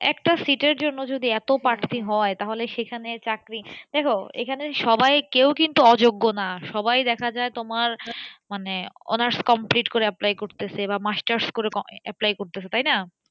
একটা seat এর জন্য যদি এতো পার্থী হয় তাহলে সেখানে চাকরি দেখ এখানে সবাই কেউই কিন্তু অযোগ্য না সবাই দেখা যায় তোমার মানে honours complete করে apply করতেছে বা masters করে apply করতেছে তাই না?